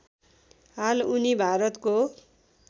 हाल उनी भारतको